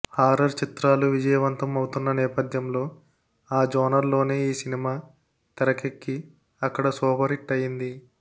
horror చిత్రాలు విజయవంతం అవుతున్న నేపథ్యంలో ఆ జోనర్ లోనే ఈ సినిమా తెరకెక్కి అక్కడ సూపర్ హిట్ అయింది